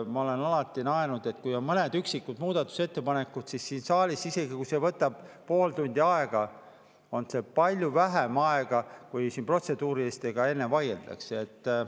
Ma olen alati naernud, et kui on mõned üksikud muudatusettepanekud, siis siin saalis, isegi kui see võtab pool tundi aega, võtab see palju vähem aega kui see, mis kulub protseduuriliste üle vaidlemisele.